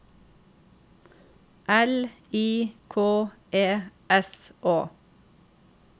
L I K E S Å